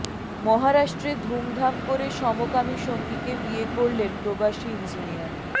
মহারাষ্ট্রে ধুমধাম করে সমকামী সঙ্গীকে বিয়ে করলেন প্রবাসী ইঞ্জিনিয়ার